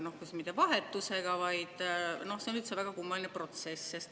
See ei ole mitte vahetus, vaid see on väga kummaline protsess.